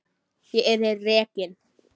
Ég yrði rekin.